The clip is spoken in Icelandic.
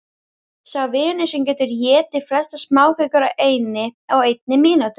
Sá vinnur sem getur étið flestar smákökur á einni mínútu.